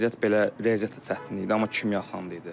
Riyaziyyat belə, riyaziyyat da çətin idi, amma kimya asan idi.